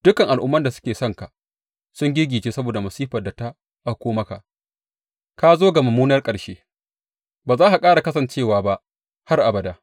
Dukan al’umman da suka san ka sun giggice saboda masifar da ta auko maka; ka zo ga mummunar ƙarshe ba za ka ƙara kasancewa ba har abada.’